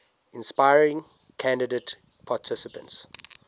inspiring candidate participants